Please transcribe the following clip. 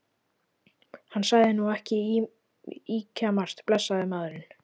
Hann sagði nú ekki ýkjamargt, blessaður maðurinn.